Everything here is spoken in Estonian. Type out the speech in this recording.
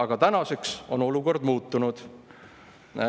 Aga tänaseks on olukord muutunud.